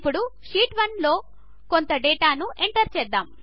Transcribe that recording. ఇప్పుడు షీట్ 1లో కొంత డేటాను ఎంటర్ చేద్దాము